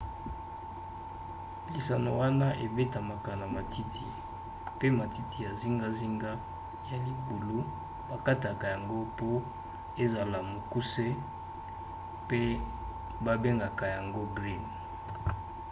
lisano wana ebetamaka na matiti pe matiti ya zingazinga ya libulu bakataka yango mpo ezala mokuse pe babengaka yango green